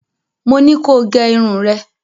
Mo ní ko gẹ irun rẹ̀.